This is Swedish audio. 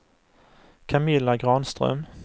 Camilla Granström